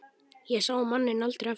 Ég sá manninn aldrei aftur.